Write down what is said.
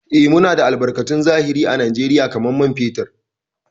Eh, Muna da albarkatun zahiri à Najeriya kamar man fetur.